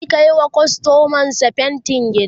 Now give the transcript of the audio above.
zai Kai wa kustomar sa fainti gida